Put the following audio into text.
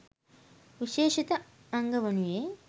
විශේෂිත අංග වනුයේ